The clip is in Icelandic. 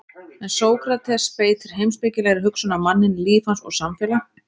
En Sókrates beitir heimspekilegri hugsun á manninn, líf hans og samfélag.